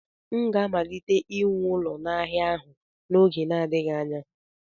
M ga-amalite iwu ụlọ n'ala ahụ n'oge na-adịghị anya.